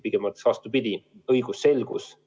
Pigem ma ütleks vastupidi: on õigusselgus.